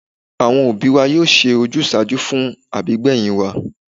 Àwọn òbí wa yóò ṣe ojúsàájú fún àbígbẹ̀yìn wa